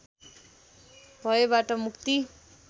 भयबाट मुक्ति